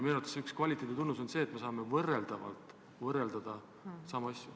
Minu arvates üks kvaliteedi tunnus on see, et me saame võrrelda samu asju.